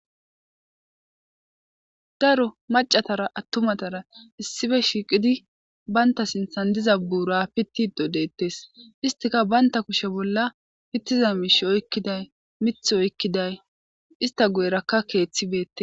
Daro maccathara attumathara issipe shiiqidi banththa sinththan diza buura piththiddo deeththes; isthika banththa kushe bolla piththiza miishshi oykkiday miththi oykkiday istha guyerakka keeththi beeththes.